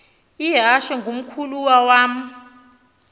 ihashe ngumkhulawa uam